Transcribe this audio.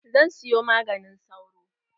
Zan siyo maganin sauro.